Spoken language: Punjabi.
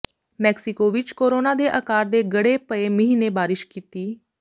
ਮੈਕਸੀਕੋ ਵਿਚ ਕੋਰੋਨਾ ਦੇ ਆਕਾਰ ਦੇ ਗੜੇ ਪਏ ਮੀਂਹ ਨੇ ਬਾਰਿਸ਼ ਕੀਤੀ